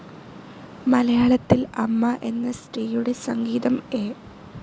മലയാളത്തിൽ അമ്മ എന്ന സ്ത്രീയുടെ സംഗീതം എ.